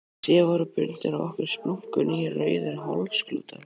Síðan voru bundnir á okkur splunkunýir rauðir hálsklútar.